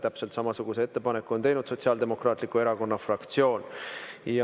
Täpselt samasuguse ettepaneku on teinud ka Sotsiaaldemokraatliku Erakonna fraktsioon.